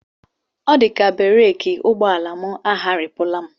Ọ dịkwa ka bereki ụgbọala m agharịpụla